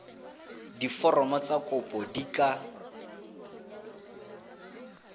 diforomo tsa kopo di ka